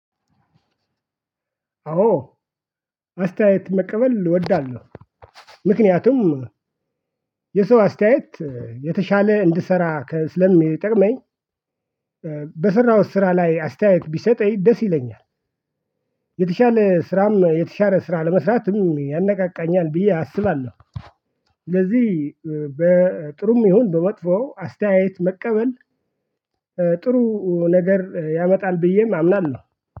አዎ አስተያየት መቀበል እወዳለሁ። ምክንያቱም የሰው አስተያየት የተሻለ እንድሰራ ስለሚጠቅመኝ። በሰራሁት ስራ ላይ አስተያየት ቢሰጠኝ ደስ ይለኛል። የተሻለ ስራም የተሻለ ስራ ለመስራትም ያነቃቃኛል ብዬ አስባለሁ። ለዚህ በጥሩም ይሁን በመጥፎ አስተያየት መቀበል። ጥሩ ነገር ያመጣል ብዬም አምናለሁ።